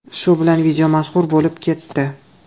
Shu bilan video mashhur bo‘lib ketdi.